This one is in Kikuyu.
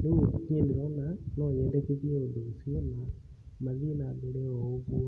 rĩu niĩ ndĩrona no nyendekithie ũndũ ũcio na mathiĩ na mbere o ũguo